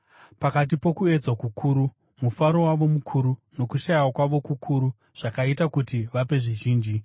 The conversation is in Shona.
Pakati pokuedzwa kukuru, mufaro wavo mukuru nokushayiwa kwavo kukuru zvakaita kuti vape zvizhinji.